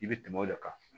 I bɛ tɛmɛ o de kan